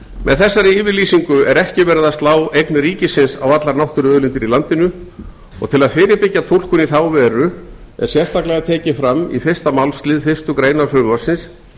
með þessari yfirlýsingu er ekki verið að slá eign ríkisins á allar náttúruauðlindir í landinu og til að fyrirbyggja túlkun í þá veru er sérstaklega tekið fram í fyrsta málslið fyrstu grein frumvarpsins